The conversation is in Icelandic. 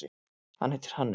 Hann heitir Hannes.